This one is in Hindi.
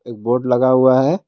एक बोर्ड लगा हुआ है।